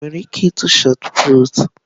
Ị nwere ike ịtụ shọt pụtụ?